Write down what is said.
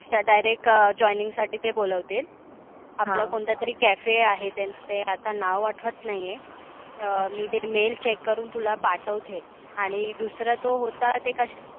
तर direct joining साठी ते बोलावतील. आपला कोणतातरी cafe आहे. ते आता नाव आठवत नाहिये. अं मी ते mail check करुण तुला पाठवते. आणि दुसरा तो होता ते कस